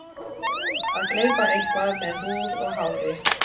Að gleypa eitthvað með húð og hári